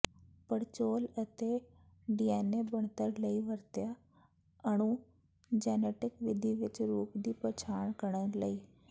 ਪੜਚੋਲ ਅਤੇ ਡੀਐਨਏ ਬਣਤਰ ਲਈ ਵਰਤਿਆ ਅਣੂ ਜੈਨੇਟਿਕ ਵਿਧੀ ਵਿਚ ਰੂਪ ਦੀ ਪਛਾਣ ਕਰਨ ਲਈ